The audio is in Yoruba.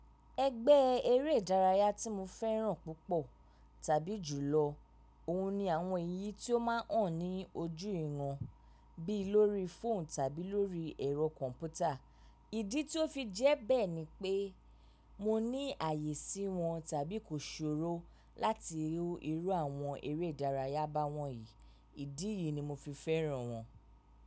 Ẹgbẹ́ eré ìdárayá tí mo fẹ́ràn púpọ̀ tàbí jùlọ, òun ni àwọn èyí tí ó máa hàn ní ojú ìran bí lórí fóònù tàbí lórí ẹ̀rọ kọ̀ǹpútà. Ìdí tí ó fi jẹ́ bẹ́ ni pé mo ní àyè sí wọn tàbí kò sòro láti rí irú àwọn eré ìdárayá ba wọ̀nyí. Ìdí yìí ni mo fi fẹ́ràn wọ́n.